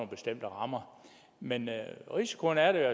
bestemte rammer men risikoen er der